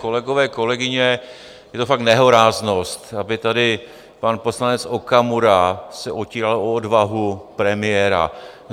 Kolegové, kolegyně, je to fakt nehoráznost, aby tady pan poslanec Okamura se otíral o odvahu premiéra.